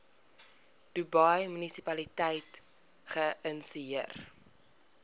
dubai munisipaliteit geïnisieer